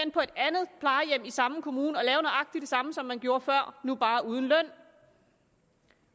samme kommune nøjagtig det samme som man gjorde før nu bare uden løn